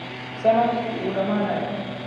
Sannadku wuu dhammaanaya